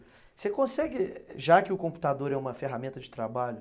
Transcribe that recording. Você consegue, já que o computador é uma ferramenta de trabalho.